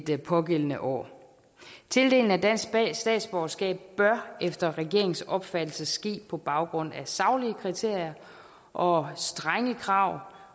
det pågældende år tildeling af dansk statsborgerskab bør efter regeringens opfattelse ske på baggrund af saglige kriterier og strenge krav